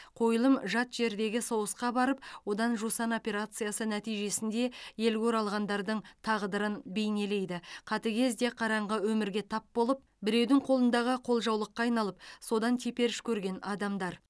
қойылым жат жердегі соғысқа барып одан жусан операциясы нәтижесінде елге оралғандардың тағдырын бейнелейді қатыгез де қараңғы өмірге тап болып біреудің қолындағы қолжаулыққа айналып содан теперіш көрген адамдар